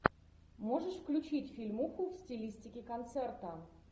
можешь включить фильмуху в стилистике концерта